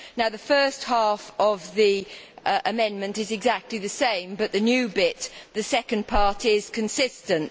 The first half of the amendment is exactly the same but the new bit the second part is consistent.